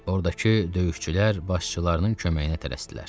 Ordakı döyüşçülər başçılarının köməyinə tələsdilər.